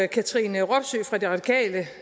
katrine robsøe fra de radikale